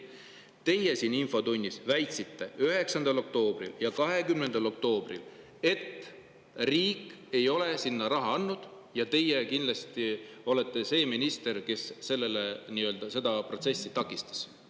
Teie siin 9. ja 20. oktoobril infotunnis väitsite, et riik ei ole sinna raha andnud ja teie kindlasti olete see minister, kes seda protsessi takistas.